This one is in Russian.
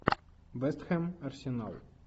вест хэм арсенал